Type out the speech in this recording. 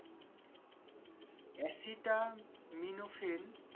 asytaminophel